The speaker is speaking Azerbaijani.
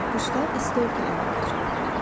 Quşlar isti ölkələrə keçirlər.